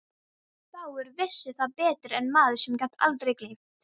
Fáir vissu það betur en maður sem gat aldrei gleymt.